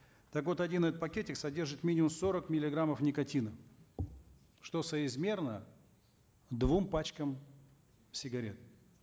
так вот один этот пакетик содержит минимум сорок миллиграммов никотина что соизмерно двум пачкам сигарет